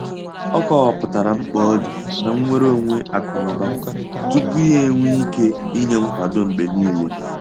Ọ kọwapụtara mkpa ọdị na nnwere onwe akụ na ụba tupu ya enwee ike inye nkwado mgbe niile.